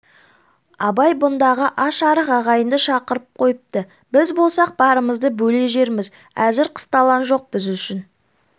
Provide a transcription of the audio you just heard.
абай бұндағы аш-арық ағайынды шақырып қойыпты біз болсақ барымызды бөле жерміз әзір қысталаң жоқ біз үшін